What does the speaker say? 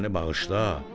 Məni bağışla.